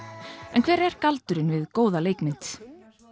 en hver er galdurinn við góða leikmynd